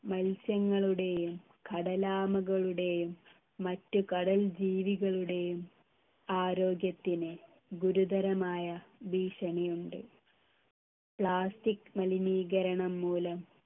മത്സ്യങ്ങളുടെയും കടലാമകളുടെയും മറ്റ് കടൽ ജീവികളുടെയും ആരോഗ്യത്തിന് ഗുരുതരമായ ഭീഷണിയുണ്ട് plastic മലിനീകരണം മൂലം